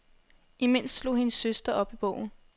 Imens slog hendes søster op i bogen.